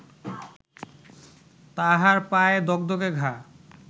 তাহার পায়ে দগদগে ঘা